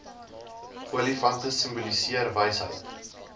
olifante simboliseer wysheid